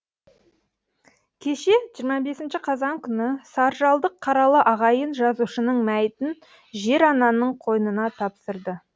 кеше жиырма бесінші қазан күні саржалдық қаралы ағайын жазушының мәйітін жер ананың қойнына тапсырды